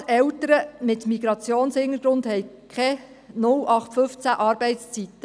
Gerade Eltern mit Migrationshintergrund haben keine 0815-Arbeitszeiten: